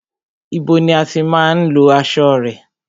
Ibo ni o tí má ń lọ aṣo rẹ?